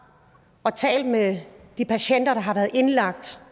og talt med de patienter der har været indlagt